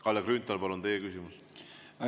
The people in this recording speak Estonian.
Kalle Grünthal, palun, teie küsimus!